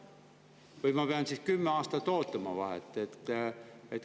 Või pean ma siis kümme aastat ootama?